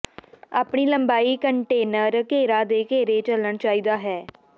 ਆਪਣੇ ਲੰਬਾਈ ਕੰਟੇਨਰ ਘੇਰਾ ਦੇ ਘੇਰੇ ਚੱਲਣ ਚਾਹੀਦਾ ਹੈ